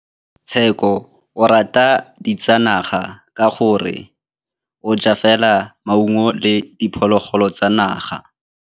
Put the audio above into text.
Tshekô o rata ditsanaga ka gore o ja fela maungo le diphologolo tsa naga.